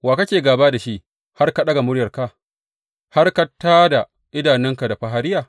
Wa kake gāba da shi har ka ɗaga muryarka, har ka tā da idanunka da fahariya?